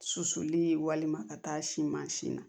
Susuli walima ka taa si mansin na